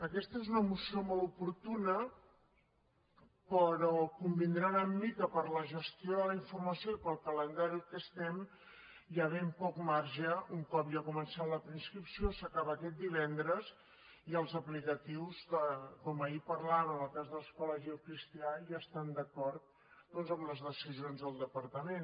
aquesta és una moció molt oportuna però convindran amb mi que per la gestió de la informació i per al calendari en què estem hi ha ben poc marge un cop ja ha començat la preinscripció s’acaba aquest divendres i els aplicatius com ahir parlàvem en el cas de l’escola gil cristià ja estan d’acord doncs amb les decisions del departament